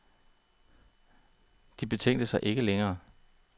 De betænkte sig ikke længe.